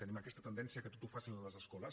tenim aquesta tendència que tot ho facin les escoles